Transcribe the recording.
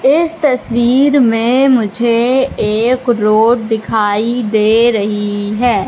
इस तस्वीर में मुझे एक रोड दिखाई दे रही है।